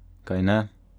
Kajne?